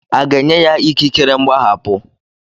A ga-enye ya ikikere mgbaghapụ?